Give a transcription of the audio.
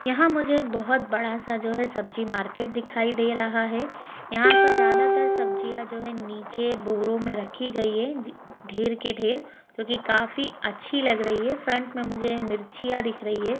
यहाँ मुझे एक बहोत बड़ा सा जो है सब्जी मार्केट दिखाई दे रहा है यहाँ पर ज़्यादातर सब्जिया जो हैं नीचे बोरों में रखी गई है ढेर के ढेर जो के काफि अच्छी लग रही है फ्रंट मे मुझे मिर्चीया दिख रही है।